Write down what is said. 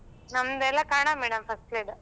ನಮ್ಮದೆಲ್ಲ Kannada medium first grade .